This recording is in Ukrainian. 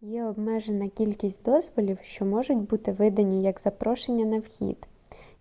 є обмежена кількість дозволів що можуть бути видані як запрошення на вхід